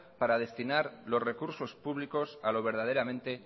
para destinar los recursos públicos a lo verdaderamente